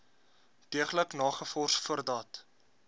deeglik nagevors voordat